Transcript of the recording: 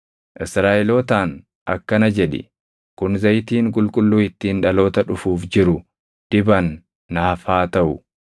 Israaʼelootaan akkana jedhi; ‘Kun zayitiin qulqulluu ittiin dhaloota dhufuuf jiru diban naaf haa taʼu.